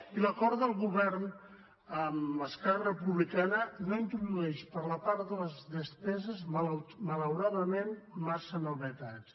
i l’acord de govern amb esquerra republicana no introdueix per la part de les despeses malauradament massa novetats